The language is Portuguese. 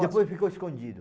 depois ficou escondido.